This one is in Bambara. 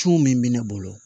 Cun min bɛ ne bolo